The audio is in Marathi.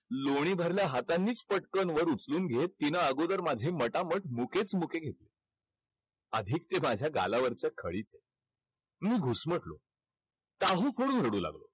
लोणी भरल्या हातांनीच पटकन वर उचलून घेत तिनं अगोदर माझे मटामट मुकेच मुके घेतले. अधिक ते माझ्या गालावरचं खळीचं मी घुसमटलो. काहू फोडून रडू लागलो.